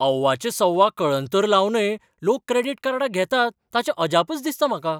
अव्वाच्या सव्वा कळंतर लावनय लोक क्रेडिट कार्डां घेतात ताचें अजापच दिसता म्हाका.